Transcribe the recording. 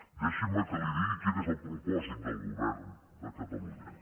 deixi’m que li digui quin és el propòsit del govern de catalunya